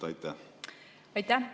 Aitäh!